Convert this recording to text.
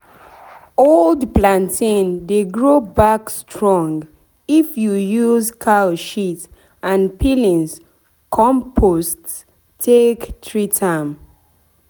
old plantain dey grow back strong if you use cow shit and peelings compost take treat am.